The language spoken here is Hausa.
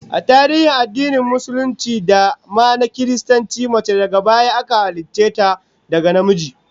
A tarihin addinin Musulunci da ma na Kiristanci, mace daga baya aka halicce ta daga namiji